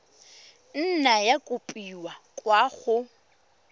nna ya kopiwa kwa go